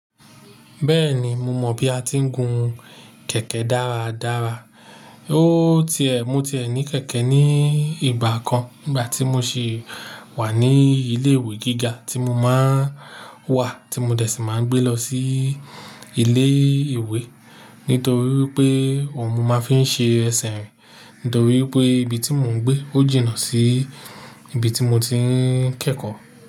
Bẹ́ẹ̀ni, mo mọ bí a ti ń gun kẹ̀kẹ́ dáradára. O ti ẹ, mo ti ẹ ní kẹ̀kẹ́ ní ìgbà kan nígbà tí mo sì wà ní ilé ìwé gíga tí mo máa ń wà tí mo dẹ̀ ṣì máa ń gbé lọ sí ilé ìwé nítorí pé ọ̀hún mo máa ń fi ṣe ẹsẹ̀ rìn nítorí pé ibi tí mò ń gbé ó jìnnà sí ibi tí mo ti ń kẹ́kọ̀ọ́.